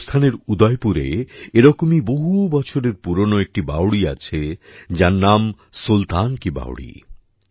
রাজস্থানের উদয়পুরে এরকমই বহু বছরের পুরনো একটি বাওড়ি আছে যার নাম সুলতান কি বাওড়ি